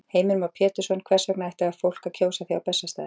Heimir Már Pétursson: Hvers vegna ætti fólk að kjósa þig á Bessastaði?